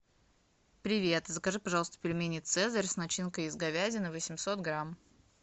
привет закажи пожалуйста пельмени цезарь с начинкой из говядины восемьсот грамм